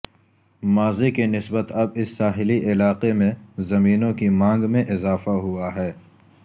ماضی کی نسبت اب اس ساحلی علاقے میں زمینوں کی مانگ میں اضافہ ہوا ہے